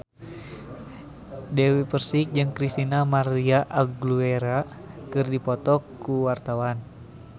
Dewi Persik jeung Christina María Aguilera keur dipoto ku wartawan